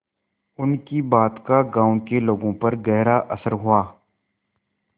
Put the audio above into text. उनकी बात का गांव के लोगों पर गहरा असर हुआ